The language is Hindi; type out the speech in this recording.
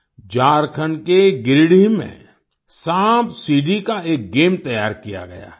झारखंड के गिरिडीह में सांपसीढ़ी का एक गेम तैयार किया गया है